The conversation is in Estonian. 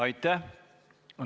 Aitäh!